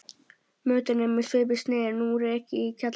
Mötuneyti með svipuðu sniði er nú rekið í kjallara